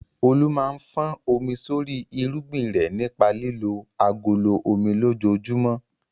Olu máa ń fọ́n omi sórí irúgbìn rẹ̀ nípa lílo agolo omi lójoojúmọ́.